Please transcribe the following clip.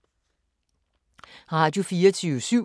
Radio24syv